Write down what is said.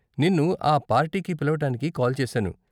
నిన్ను ఆ పార్టీకి పిలవటానికి కాల్ చేసాను.